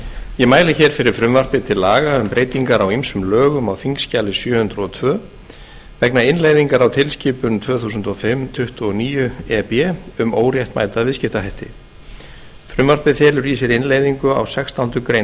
ég mæli hér fyrir frumvarpi til laga um breytingar á ýmsum lögum á þingskjali sjö hundruð og tvö vegna innleiðingar á tilskipun tvö þúsund og fimm tuttugu og níu e b um óréttmæta viðskiptahætti frumvarpið felur í sér innleiðingu á sextándu grein